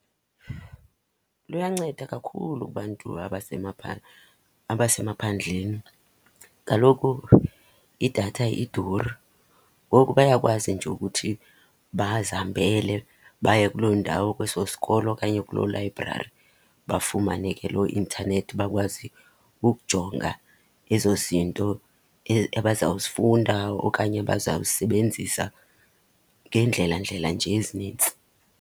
Luyanceda kakhulu kubantu abasemaphandleni. Kaloku idatha iduri, ngoku bayakwazi nje ukuthi bazihambele baye kuloo ndawo, kweso sikolo okanye kuloo layibrari bafumane ke loo intanethi, bakwazi ukujonga ezo zinto abazawuzifunda okanye abazawuzisebenzisa ngeendlela ndlela nje ezinintsi.